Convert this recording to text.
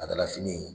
A dala fini